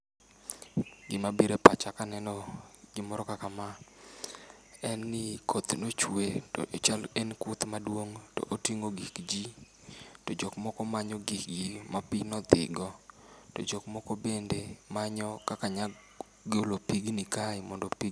Gima biro e pacha kaneno gima kama en ni koth nochwe to chal en koth maduong' to oting'o gik ji, to jok moko manyo gikgi ma pi nodhigo. To jok moko bende manyo kaka nyalo golo pigni kae mondo pi